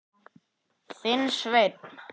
Þinn, Sveinn.